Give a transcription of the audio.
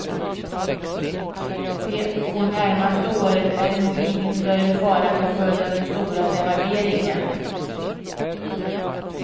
De två närmaste åren är det nog ingen större fara till följd av den stora devalveringen.